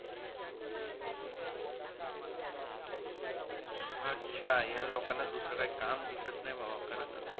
अच्छा या लोकांना दुसरं काही काम दिसत नाही बाबा खरं त